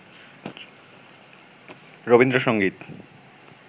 Rabindrasangeet